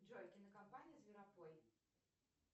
джой кинокомпания зверопой